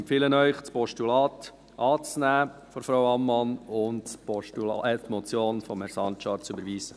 Ich empfehle Ihnen, das Postulat von Frau Ammann anzunehmen und die Motion von Herrn Sancar zu überweisen.